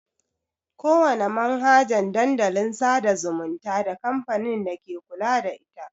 Ƙowana manhajan Dandalin sada zumunta da kamfanin dake kula da ita.